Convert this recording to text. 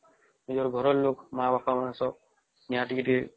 ନିଜର ଘର ର ଲୋକ ମା ବାପ ସ୍ଵ ନିଉଏ ଟିକେ ଟିକେ